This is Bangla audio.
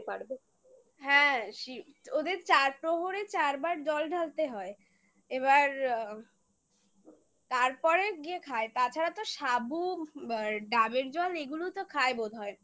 হ্যাঁ ওদের চার প্রহরে চারবার জল ঢালতে হয় এবার আ তারপরে গিয়ে খায় তাছাড়া তো সাবু আর ডাবের জল এগুলো তো খায় বোধহয়